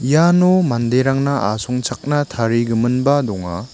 iano manderangna asongchakna tarigiminba donga.